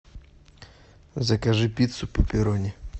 закажи пиццу пепперони